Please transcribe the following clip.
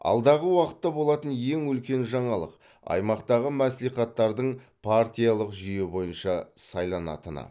алдағы уақытта болатын ең үлкен жаңалық аймақтағы мәслихаттардың партиялық жүйе бойынша сайланатыны